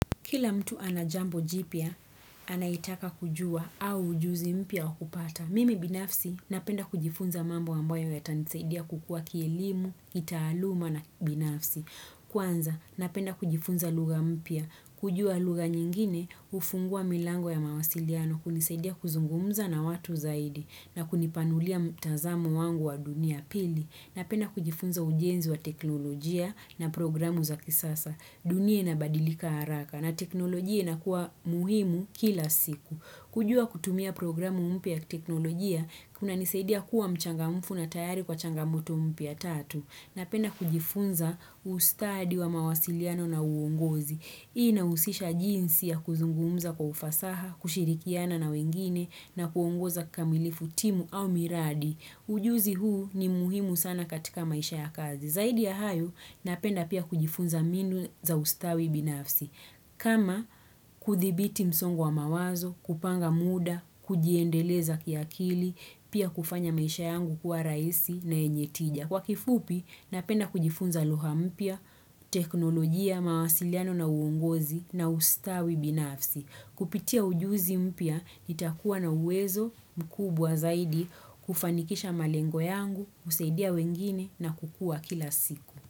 Kila mtu anajambo jipya, anayoitaka kujua au ujuzi mpya wakupata. Mimi binafsi, napenda kujifunza mambo ambayo yatanisaidia kukua kielimu, kitaaluma na kibinafsi. Kwanza, napenda kujifunza lugha mpya, kujua lugha nyingine, hufungua milango ya mawasiliano, hunisaidia kuzungumza na watu zaidi, na kunipanulia mtazamo wangu wa dunia pili. Napenda kujifunza ujenzi wa teknolojia na programu za kisasa. Dunia inabadilika haraka na teknolojia inakuwa muhimu kila siku. Kujua kutumia programu mpya ya kiteknolojia kunanisaidia kuwa mchangamfu na tayari kwa changamoto mpya tatu. Napenda kujifunza ustadi wa mawasiliano na uongozi. Inahusisha jinsi ya kuzungumza kwa ufasaha, kushirikiana na wengine na kuongoza kamilifu timu au miradi. Ujuzi huu ni muhimu sana katika maisha ya kazi. Zaidi ya hayo, napenda pia kujifunza minu za ustawi binafsi. Kama kuthibiti msongo wa mawazo, kupanga muda, kujiendeleza kiakili, pia kufanya maisha yangu kuwa raisi na yenye tija. Kwa kifupi, napenda kujifunza lugha mpya, teknolojia, mawasiliano na uongozi na ustawi binafsi. Kupitia ujuzi mpya, nitakuwa na uwezo mkubwa zaidi kufanikisha malengo yangu, kusaidia wengine na kukua kila siku.